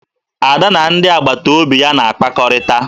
Ada na ndị agbataobi ya na-akpakọrịta